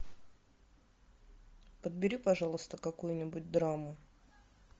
подбери пожалуйста какую нибудь драму